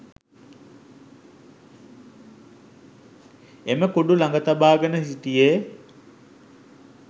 එම කුඩු ලඟ තබාගෙන හිටියේ